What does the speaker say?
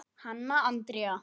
Hanna Andrea.